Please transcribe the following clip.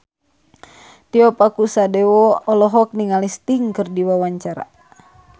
Tio Pakusadewo olohok ningali Sting keur diwawancara